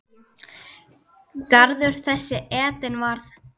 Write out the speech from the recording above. Garður þessi Eden varð.